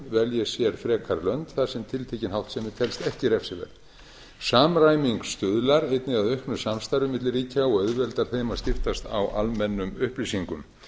velji sér frekar lönd þar sem tiltekin háttsemi telst ekki refsiverð samræming stuðlar einnig að auknu samstarfi milli ríkja og auðveldar þeim að skiptast á almennum upplýsingum